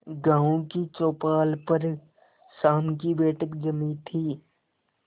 गांव की चौपाल पर शाम की बैठक जमी थी